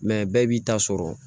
bɛɛ b'i ta sɔrɔ